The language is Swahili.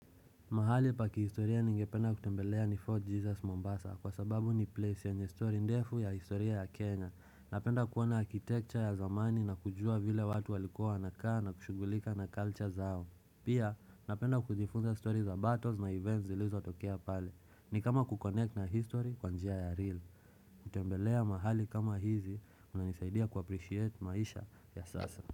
Mahali pa kihistoria ningependa kutembelea ni Fort Jesus Mombasa kwa sababu ni place yenye story ndefu ya historia ya Kenya. Napenda kuona architecture ya zamani na kujua vile watu walikuwa wanakaa na kushughulika na culture zao. Pia napenda kujifunza story za battles na events zilizotokea pale ni kama kuconnect na history kwa njia ya real. Kutembelea mahali kama hizi kunanisaidia kuappreciate maisha ya sasa.